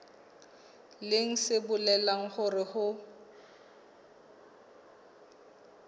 leng se bolelang hore ho